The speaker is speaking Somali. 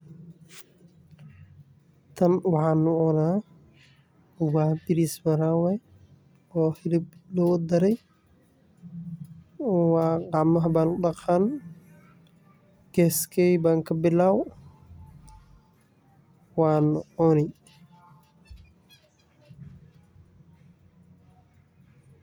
Kan waxaa lagu cuna waa baris maharage oo hilib lagu dare gacmaha ayan daqani geskeyda ayan kabilawi waa lacuni.